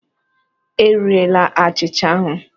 E rile achịcha ahụ!